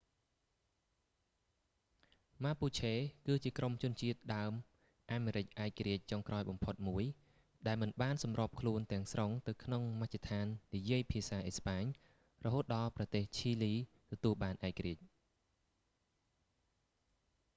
ម៉ាពូឆេគឺជាក្រុមជនជាតិដើមអាមេរិកឯករាជ្យចុងក្រោយបំផុតមួយ ដែលមិនបានសម្របខ្លួនទាំងស្រុងទៅក្នុងមជ្ឈដ្ឋាននិយាយភាសាអេស្ប៉ាញ រហូតដល់ប្រទេសឈីលីទទួលបានឯករាជ្យ